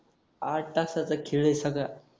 आठ तासाचा खेळ हे सगळा